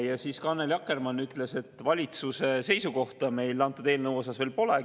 Ja Annely Akkermann ütles, et valitsuse seisukohta meil antud eelnõu kohta veel pole.